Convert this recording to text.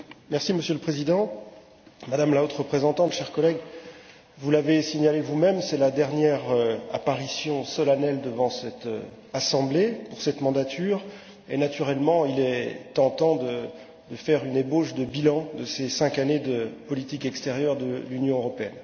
Monsieur le Président, Madame la haute représentante, chers collègues, vous l'avez signalé vous même, c'est la dernière apparition solennelle devant cette Assemblée, au cours de cette mandature, et il est naturellement tentant de faire une ébauche de bilan de ces cinq années de politique extérieure de l'Union européenne.